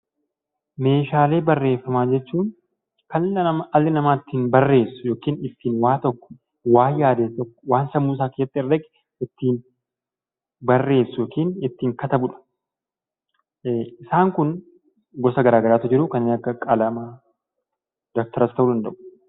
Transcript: Meeshaalee barreeffamaa jechuun kan dhalli namaa ittiin barreessu yookiin ittiin waa tokko, waan yaade tokko, waan sammuusaa keessatti herrege ittiin barreessu (ittiin katabu) dha. Isaan kun gosa garaagaraatu jiru: kanneen akka qalamaa, dabtaras ta'uu danda'u.